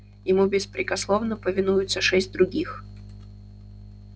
ему беспрекословно повинуются шесть других